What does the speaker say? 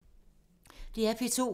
DR P2